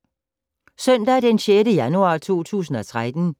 Søndag d. 6. januar 2013